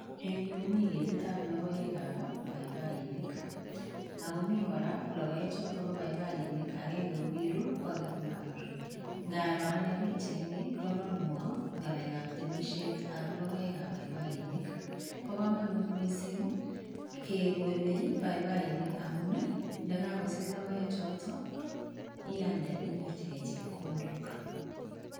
Eng' yuu komi ketitab logoekab paipainik, akomi kora logoek chotok bo paipainik. Agenge kokirur, ko age komarur. Ngaro ane pichait ni, kononwo ngalekab temisietab logoeab paipainik. Bo komonut missing kegole paipainik amun, ndakakosich logoek chotok, ialde inyorchikei chepkondok